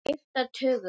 Þeir skipta tugum.